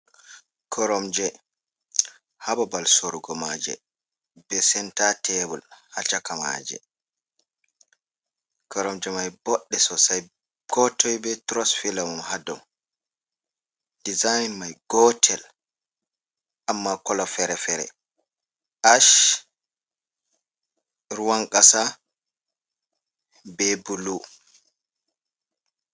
Koromje ha babal sorugo maje, be senta tebol ha caka maje, korom je mai boɗɗe sosai ko toi be tros filo mum, ha dou, dezin mai gotel amma kola fere-fere ash, ruwan kasa, be bulu.